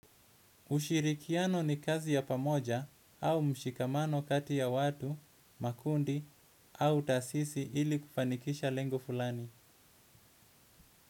Ushirikiano ni kazi ya pamoja au mshikamano kati ya watu, makundi au taasisi ili kufanikisha lengo fulani.